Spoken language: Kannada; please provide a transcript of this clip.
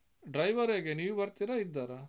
Driver ಹೇಗೆ? ನೀವು ಬರ್ತೀರಾ, ಇದ್ದಾರಾ?